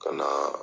Ka na